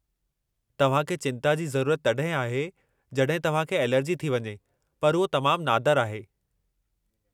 तव्हां खे चिंता जी ज़रूरत तड॒हिं आहे जड॒हिं तव्हां खे ऐलेर्जी थी वञे पर उहो तमामु नादरु आहे।